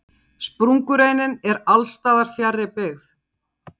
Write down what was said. Sprungureinin er alls staðar fjarri byggð.